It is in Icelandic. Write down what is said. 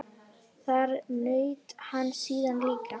Þar naut hann sín líka.